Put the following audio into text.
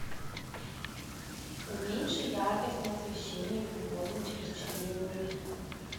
уменьши яркость на освещении в уборной через четыре минуты